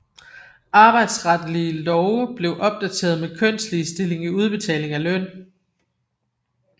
Arbejdsretslige love blev opdateret med kønsligestilling i udbetaling af løn